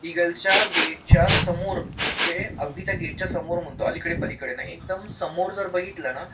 इगलच्या गेटच्या समोर म्हणजे अगदी त्या गेटच्या समोर म्हणतो पलीकडे एकदम समोर जर बघितलं ना